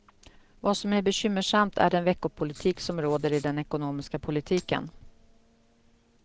Vad som är bekymmersamt är den veckopolitik som råder i den ekonomiska politiken.